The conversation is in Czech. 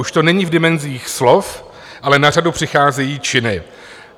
Už to není v dimenzích slov, ale na řadu přicházejí činy.